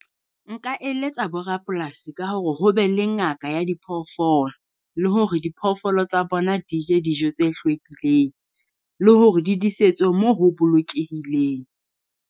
Nka eletsa borapolasi ka hore ho be le ngaka ya diphoofolo, le hore diphoofolo tsa bona di je dijo tse hlwekileng, le hore di disetswe mo ho bolokehileng.